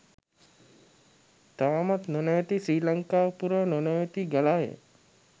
තවමත් නොනැවතී ශ්‍රී ලංකාව පුරා නොනැවතී ගලායයි